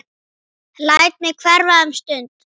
Læt mig hverfa um stund.